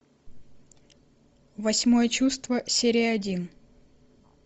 восьмое чувство серия один